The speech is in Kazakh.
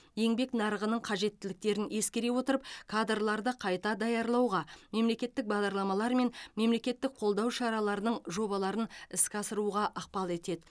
еңбек нарығының қажеттіліктерін ескере отырып кадрларды қайта даярлауға мемлекеттік бағдарламалар мен мемлекеттік қолдау шараларының жобаларын іске асыруға ықпал етеді